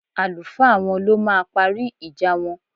Àlùfáà wọn ló máa parí ìjà wọn